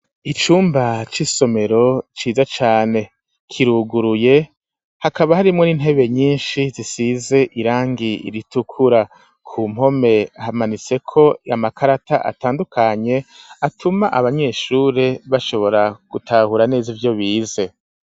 Icumba c'isomero ciza cane, kiruguruye hakaba harimwo n'intebe nyinshi zisize irangi ritukura; ku mpome hamanitseko amakarata atandukanye, atuma abanyeshure bashobora gutahura neza ivyo bize.